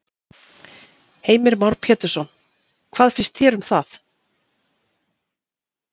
Heimir Már Pétursson: Hvað finnst þér um það?